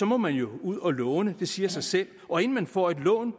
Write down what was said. må man jo ud og låne det siger sig selv og inden man får et lån